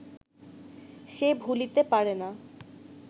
সে ভুলিতে পারে না